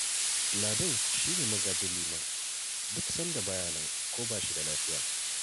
Ladan shi ne magajin Liman duk sanda ba ya nan ko ba shi da lafiya